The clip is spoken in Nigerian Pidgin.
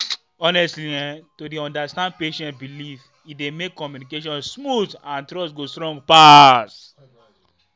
honestly[um]to dey understand patient belief e dey make communication smooth and trust go strong pass.